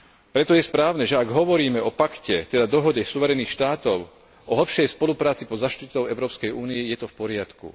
Preto je správne, že ak hovoríme o pakte, teda dohode suverénnych štátov o hlbšej spolupráci pod záštitou Európskej únie, je to v poriadku.